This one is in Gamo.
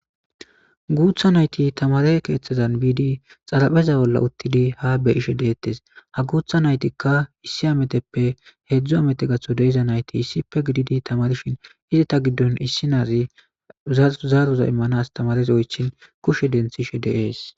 Guththa nayti tamare keththti bidi xarpeza bolla uththidi ha be'she detes ha gutha nayti issi ametepe hedzdzu ameye gakanawu de'zayti issipe giddidi tamarishe detes eeta giddon issi nazi zaroza imanas oychin kushe dentishshe de's